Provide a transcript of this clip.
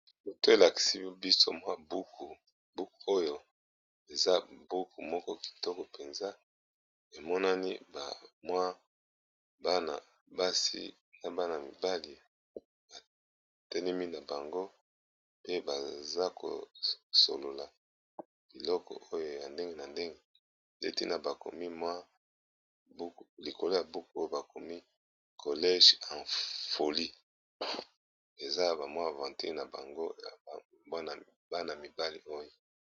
Foto elakisi biso mwa buku oyo eza buku moko kitoko mpenza emonani bamwa bana basi na bana mibali batenemi na bango pe baza kosolola liloko oyo ya ndenge na ndenge leti na bakomi mwa likolo ya buku oyo bakomi college afoli eza bamwa ventee na bango y bana mibali oyo